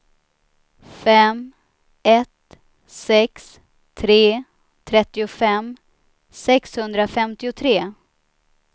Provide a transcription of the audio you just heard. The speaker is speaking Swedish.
fem ett sex tre trettiofem sexhundrafemtiotre